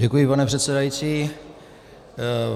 Děkuji, pane předsedající.